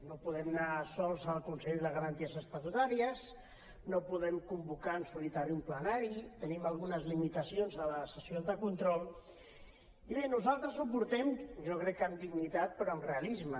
no podem anar sols al consell de garanties estatutàries no podem convocar en solitari un plenari tenim algunes limitacions a les sessions de control i bé nosaltres ho portem jo crec que amb dignitat però amb realisme